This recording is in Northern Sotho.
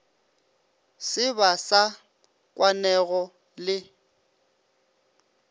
se ba sa kwanego le